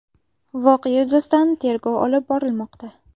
Voqea yuzasidan tergov olib borilmoqda.